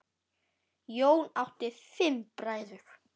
Jón átti fimm bræður.